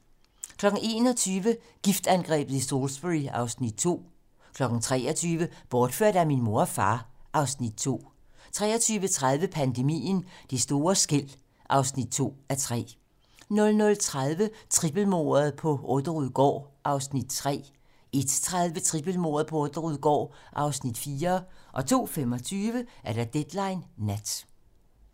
21:00: Giftangrebet i Salisbury (Afs. 2) 23:00: Bortført af min mor og far (Afs. 2) 23:30: Pandemien - Det store skel (2:3) 00:30: Trippelmordet på Orderud gård (Afs. 3) 01:30: Trippelmordet på Orderud gård (Afs. 4) 02:25: Deadline nat